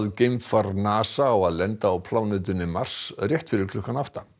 geimfar NASA á að lenda á plánetunni Mars rétt fyrir klukkan átta